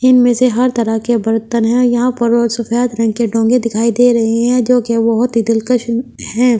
इनमें से हर तरह के बर्तन है यहाँ पर सफेद रंग के डोंगे दिखाई दे रहे हैं जो कि बहुत ही दिलकश है।